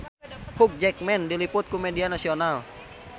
Hugh Jackman diliput ku media nasional